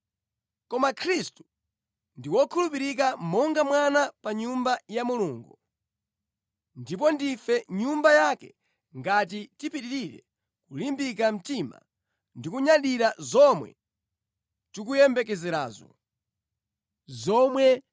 Koma Khristu ndi wokhulupirika monga mwana pa nyumba ya Mulungu. Ndipo ndife nyumba yake ngati tipitirire kulimbika mtima ndi kunyadira zomwe tikuyembekerazo.